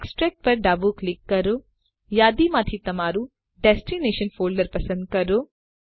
extract પર ડાબું click કરો યાદીમાંથી તમારું ડેસ્ટીનેશન ફોલ્ડર પસંદ કરો